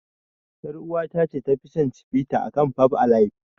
Yar uwata ta ce tafi son Cibita akan fab alaib.